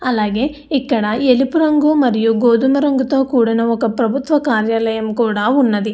అలాగే ఇక్కడ ఎలుపు రంగు మరియు గోధుము రంగుతో కూడిన ఒక ప్రభుత్వ కార్యాలయం కూడా ఉన్నది.